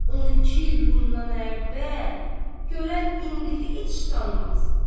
Onu iki il bundan əvvəl görən indi heç tanımaz.